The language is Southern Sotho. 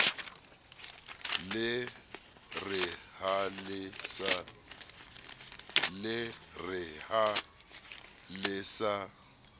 le re ha le sa